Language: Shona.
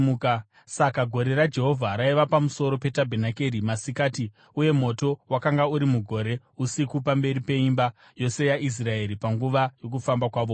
Saka gore raJehovha raiva pamusoro petabhenakeri masikati; uye moto wakanga uri mugore usiku, pamberi peimba yose yaIsraeri panguva yokufamba kwavo kwose.